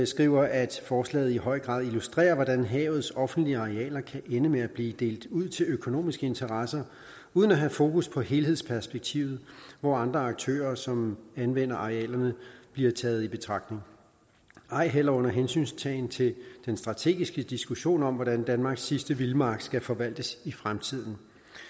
skriver at forslaget i høj grad illustrerer hvordan havets offentlige arealer kan ende med at blive delt ud til økonomiske interesser uden at have fokus på helhedsperspektivet hvor andre aktører som anvender arealerne bliver taget i betragtning ej heller under hensyntagen til den strategiske diskussion om hvordan danmarks sidste vildmark skal forvaltes i fremtiden